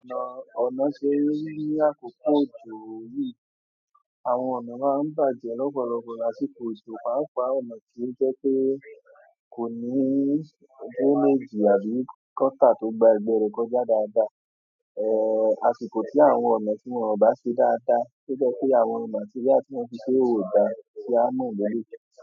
Ọ̀nà, ọ̀nà ṣe yíyá kòkòjò yìí, àwọn ọ̀nà máa ń bàjẹ́ lọ́pọ̀lọpọ̀ lásìkò òjò. Páapá ọ̀nà tí o jẹ́ pé kò ní drainage àbí gutter tó gba ẹgbẹ́ rẹ̀ kọjá dáadáa. Eh àsìkò tí àwọn ọ̀nà tí wọ́n ò bá ṣe dáadáa, to jẹ́ pé àwọn material tí wọ́n fi ṣe ò dáa, tí a mọ̀ lele yi.